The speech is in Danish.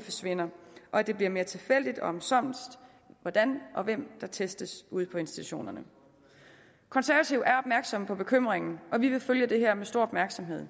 forsvinder og at det bliver mere tilfældigt og omsonst hvordan og af hvem der testes ude på institutionerne konservative er opmærksomme på bekymringerne og vi vil følge det her med stor opmærksomhed